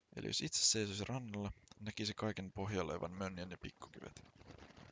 eli jos itse seisoisi rannalla näkisi kaiken pohjalla olevan mönjän ja pikkukivet